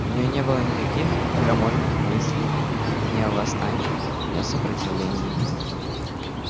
у неё не было никаких крамольных мыслей ни о восстании ни о сопротивлении